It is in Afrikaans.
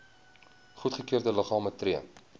goedgekeurde liggame tree